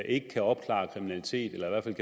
ikke kan opklare kriminalitet eller at der